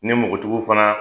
Ni mɔgɔtigiw fana